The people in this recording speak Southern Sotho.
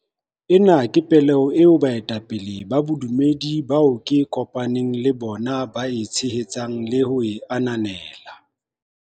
Ena ke pehelo eo baetapele ba bodumedi bao ke kopa neng le bona ba e tshehetsang le ho e ananela.